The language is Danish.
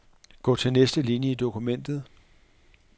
Gå til næste linie i dokumentet.